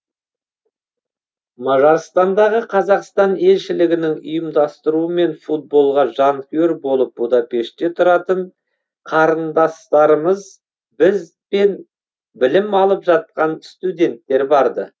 мажарстандағы қазақстан елшілігінің ұйымдастыруымен футболға жанкүйер болып будапештте тұратын қарындастарымыз бізбен білім алып жатқан студенттер барды